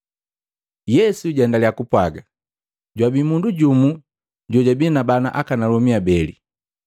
Yesu jaendaliya kupwaga, “Jwabi mundu jumu jojabi na bana akanalomi abeli.